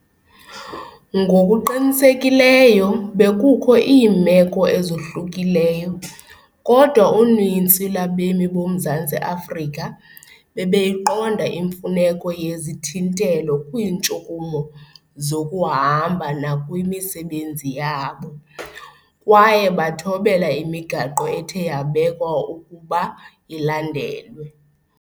Ngokuqinisekileyo bekukho iimeko ezohlukileyo, kodwa uninzi lwabemi boMzantsi Afrika bebeyiqonda imfuneko yezithintelo kwiintshukumo zokuhamba nakwimisebenzi yabo, kwaye bathobela imigaqo ethe yabekwa ukuba ilandelwe.